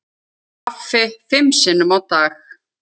Kaffi fimm sinnum á dag.